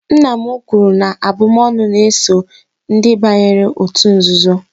nna m kwuru na abụm'ọnụ na-eso ndị banyere òtù nzuzo